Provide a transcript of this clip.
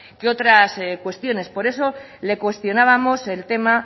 que otras cuestiones por eso le cuestionábamos el tema